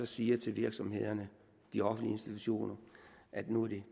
siger til virksomhederne de offentlige institutioner at det nu er de